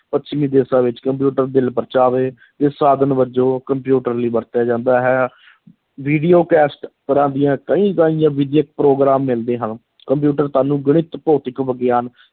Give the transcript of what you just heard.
ਪੱਛਮੀ ਦੇਸ਼ਾਂ ਵਿੱਚ ਕੰਪਿਊਟਰ ਦਿਲ-ਪਰਚਾਵੇ ਦੇ ਸਾਧਨ ਵਜੋਂ ਕੰਪਿਊਟਰ ਲਈ ਵਰਤਿਆ ਜਾਂਦਾ ਹੈ video cassette ਤਰ੍ਹਾਂ ਦੀਆਂ ਕਈ ਪ੍ਰੋਗਰਾਮ ਮਿਲਦੇ ਹਨ ਕੰਪਿਊਟਰ ਤੁਹਾਨੂੰ ਗਣਿਤ, ਭੌਤਿਕ ਵਿਗਿਆਨ,